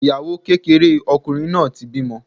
Ìyàwó kékeré ọkùnrin náà ti bímọ.